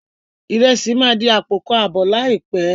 Ìrẹsì máa di àpò kan àbọ̀ láìpé.